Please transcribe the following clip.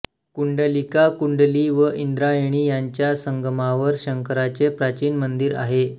कुंडलिका कुंडली व इंद्रायणी यांच्या संगमावर शंकराचे प्राचीन मंदिर आहे